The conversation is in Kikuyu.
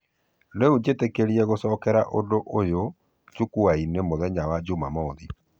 Rĩu njetereire gũcokera ũndũ ũyo jukwa-inĩ mũthenya wa jumamothi.